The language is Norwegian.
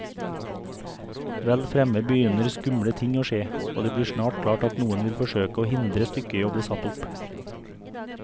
Vel fremme begynner skumle ting å skje, og det blir snart klart at noen vil forsøke å hindre stykket i bli satt opp.